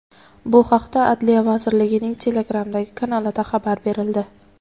Bu haqda Adliya vazirligining Telegram’dagi kanalida xabar berildi .